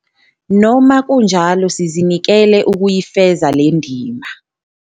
Noma kunjalo sizinikele ukuyifeza le ndima.